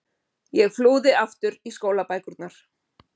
Ég flúði aftur í skólabækurnar.